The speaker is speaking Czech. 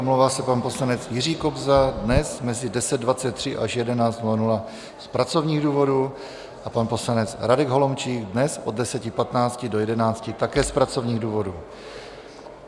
Omlouvá se pan poslanec Jiří Kobza dnes mezi 10.23 až 11.00 z pracovních důvodů a pan poslanec Radek Holomčík dnes od 10.15 do 11, také z pracovních důvodů.